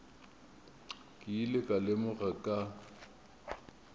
ke ile ka lemoga ka